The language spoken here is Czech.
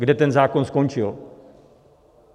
Kde ten zákon skončil?